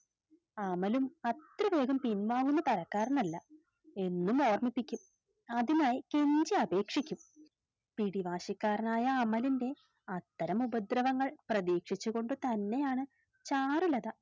അമലും അത്ര വേഗം പിൻവാങ്ങുന്ന തരക്കാരനല്ല എന്നും ഓർമിപ്പിക്കും അതിനായി കെഞ്ചി അപേക്ഷിക്കും പിടിവാശിക്കാരനായ അമലിൻറെ അത്തരം ഉപദ്രവങ്ങൾ പ്രധീക്ഷിച്ചുകൊണ്ടുതന്നെയാണ് ചാരുലത